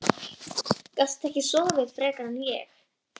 Gastu ekki sofið frekar en ég?